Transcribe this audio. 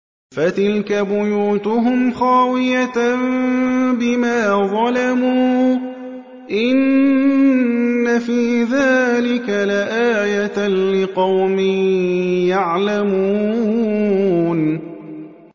فَتِلْكَ بُيُوتُهُمْ خَاوِيَةً بِمَا ظَلَمُوا ۗ إِنَّ فِي ذَٰلِكَ لَآيَةً لِّقَوْمٍ يَعْلَمُونَ